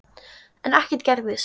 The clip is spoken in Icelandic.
Enn gerðist ekkert.